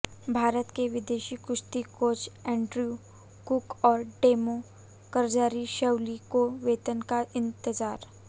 भारत के विदेशी कुश्ती कोच एंड्रयू कुक और टेमो कजारशविली को वेतन का इंतजार